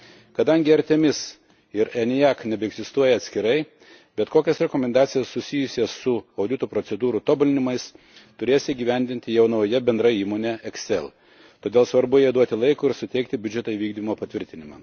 Kadangi ARTEMIS ir ENIAC nebeegzistuoja atskirai, bet kokias rekomendacijas, susijusias su audito procedūrų tobulinimais, turės įgyvendinti jau nauja bendra įmonė ECSEL, todėl svarbu jai duoti laiko ir suteikti biudžeto įvykdymo patvirtinimą.